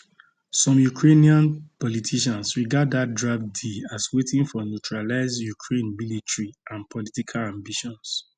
some ukrainian politicians regard dat draft deal as wetin for neutralise ukraine military and political ambitions